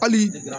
Hali